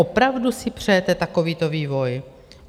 Opravdu si přejete takovýto vývoj?